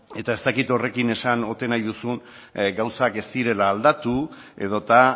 eta ez dakit horrekin esan ote nahi duzun gauzak ez direla aldatu edota